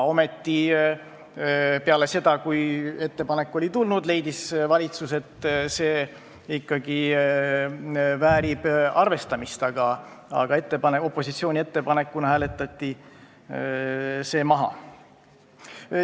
Ometi peale seda, kui see ettepanek oli tulnud, leidis valitsus, et see ikkagi väärib arvestamist, aga opositsiooni ettepanekuna hääletati see maha.